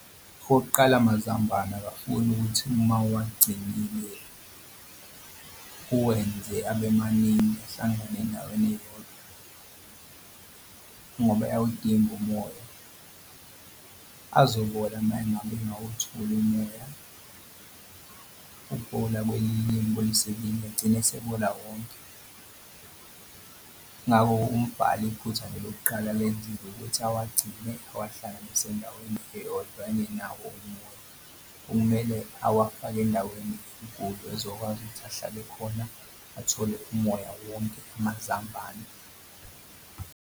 Okokuqala amazambane akafuni ukuthi uma uwagcinile uwenze abe maningi ahlangane endaweni eyodwa ngoba ayawudinga umoya. Azobola uma ngabe engawutholi umoya ukubola kwelinye kubolisa elinye egcine esebola wonke. Ngakho umbhala iphutha nje lokuqala alenzile ukuthi awagcine awahlanganise ndawonye engenawo umoya. Kumele awafake endaweni ezokwazi ukuthi ahlale khona athole umoya wonke amazambane.